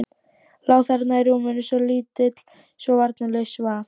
Lá þarna í rúminu, svo lítill, svo varnarlaus, svaf.